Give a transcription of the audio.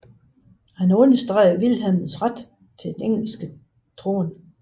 Han understregede Vilhelms ret til den engelske trone